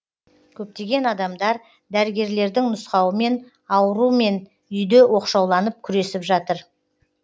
көптеген адамдар дәрігерлердің нұсқауымен аурумен үйде оқшауланып күресіп жатыр